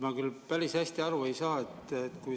Ma küll päris hästi aru ei saa.